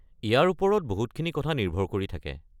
ইয়াৰ ওপৰত বহুতখিনি কথা নিৰ্ভৰ কৰি থাকে।